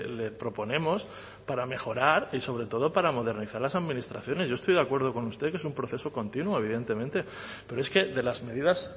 le proponemos para mejorar y sobre todo para modernizar las administraciones yo estoy de acuerdo con usted que es un proceso continuo evidentemente pero es que de las medidas